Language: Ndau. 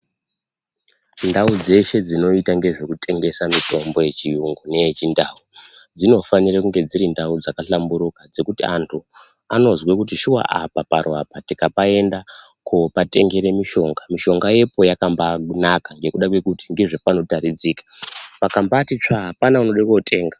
Ndau dzeshe dzinoita ngezvekutengesa mitombo yechiyungu neyechindau dzinofanire kunge dzirindau dzakahlamburuka dzekuti antu anozwa kuti shuwa apa paro apo tikapaenda koopatengere mishonga, mishonga yepo yakambaanaka ngekuda kwekuti ngezvepanotaridzika pakambaati tsvaa apana unoode kootenga.